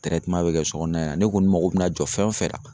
Tɛrɛteman be kɛ sɔ kɔnɔna na in ne kɔni mago bi na jɔ fɛn o fɛn na